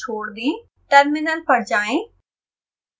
terminal पर जाएं